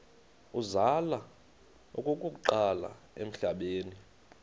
uzalwa okokuqala emhlabeni